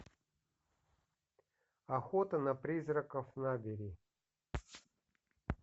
охота на призраков набери